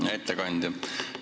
Hea ettekandja!